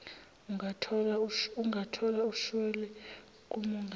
ungathola ushwele kamongameli